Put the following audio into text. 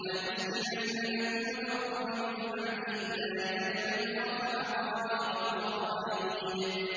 وَلَنُسْكِنَنَّكُمُ الْأَرْضَ مِن بَعْدِهِمْ ۚ ذَٰلِكَ لِمَنْ خَافَ مَقَامِي وَخَافَ وَعِيدِ